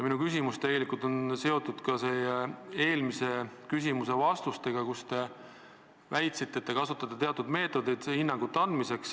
Minu küsimus on seotud ka eelmiste vastustega, kus te väitsite, et te kasutate teatud meetodit hinnangute andmiseks.